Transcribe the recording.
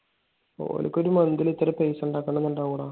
ഓര്ക്ക് ഓരോ month ഇൽ ഇത്രയും പൈസ ഇണ്ടാക്കണമെന്നുണ്ടാവുടാ.